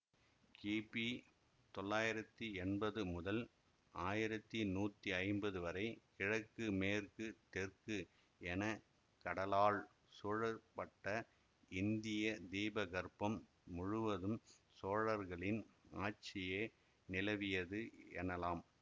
கிபி தொள்ளாயிரத்தி என்பது முதல் ஆயிரத்தி நூத்தி ஐம்பது வரை கிழக்கு மேற்கு தெற்கு என கடலால் சூழப்பட்ட இந்திய தீபகற்பம் முழுவதும் சோழர்க்ளின் ஆட்சியே நிலவியது எனலாம்